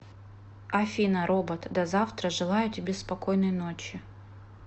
афина робот до завтра желаю тебе спокойной ночи